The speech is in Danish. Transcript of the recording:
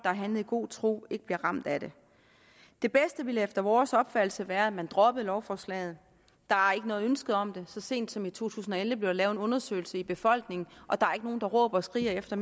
har handlet i god tro ikke bliver ramt af det det bedste ville efter vores opfattelse være at man droppede lovforslaget der er ikke noget ønske om det så sent som i to tusind og elleve blev der lavet en undersøgelse i befolkningen og der er ikke nogen der råber og skriger efter